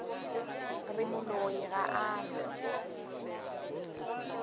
re moloi ga a na